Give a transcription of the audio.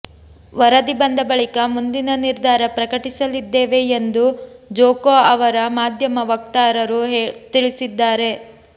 ವರದಿ ಬಂದ ಬಳಿಕ ಮುಂದಿನ ನಿರ್ಧಾರ ಪ್ರಕಟಿಸಲಿದ್ದೇವೆ ಎಂದು ಜೊಕೊ ಅವರ ಮಾಧ್ಯಮ ವಕ್ತಾರರು ತಿಳಿಸಿದ್ದಾರೆ